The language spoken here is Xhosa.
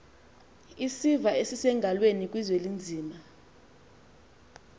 isiva esisengalweni kuzwelinzima